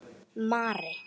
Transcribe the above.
Mari